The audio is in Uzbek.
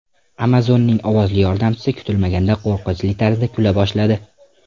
Amazon’ning ovozli yordamchisi kutilmaganda qo‘rqinchli tarzda kula boshladi.